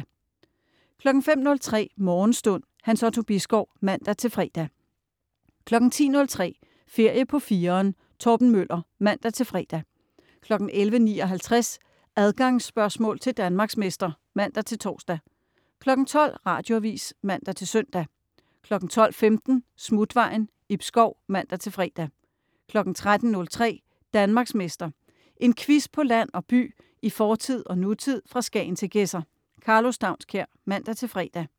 05.03 Morgenstund. Hans Otto Bisgaard (man-fre) 10.03 Ferie på 4'eren. Torben Møller (man-fre) 11.59 Adgangsspørgsmål til Danmarksmester (man-tors) 12.00 Radioavis (man-søn) 12.15 Smutvejen. Ib Schou (man-fre) 13.03 Danmarksmester. En quiz på land og by, i fortid og nutid, fra Skagen til Gedser. Karlo Staunskær (man-fre)